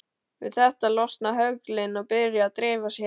Við þetta losna höglin og byrja að dreifa sér.